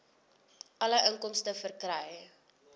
alle inkomste verkry